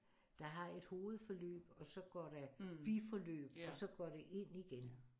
Der har et hovedforløb og så går der biforløb og så går det ind igen